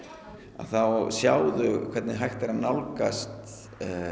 þá sjá þau hvernig hægt er að nálgast